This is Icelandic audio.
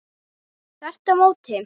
Þvert á móti!